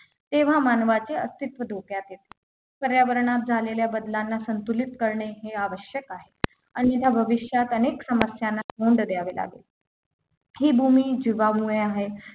तेव्हा मानवाचे अस्तित्व धोक्यात येते पर्यावरणात झालेल्या बदलांना संतुलित करणे हे आवश्यक आहे आणि त्या भविष्यात अनेक समस्यांना तोंड द्यावे लागेल ही भूमी जिवामुळे आहे